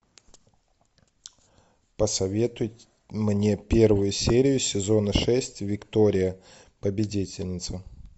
посоветуй мне первую серию сезона шесть виктория победительница